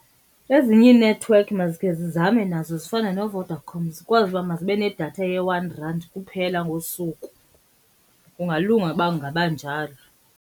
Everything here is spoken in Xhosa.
Ezinye iinethiwekhi mazikhe zizame nazo zifane noVodacom zikwazi uba mazibe nedatha ye-one rand kuphela ngosuku. Kungalunga uba kungaba njalo.